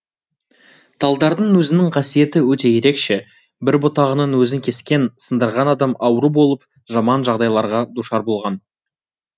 талдардың өзінің қасиеті өте ерекше бір бұтағының өзін кескен сындырған адам ауру болып жаман жағдайларға душар болған